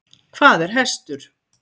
Hvað er hestur?